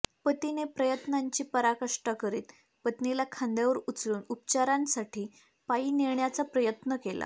पतीने प्रयत्नांची पराकाष्टा करीत पत्नीला खांद्यावर उचलून उपचारांसाठी पायी नेण्याचा प्रयत्न केला